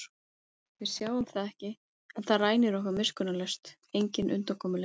Við sjáum það ekki en það rænir okkur miskunnarlaust, engin undankomuleið.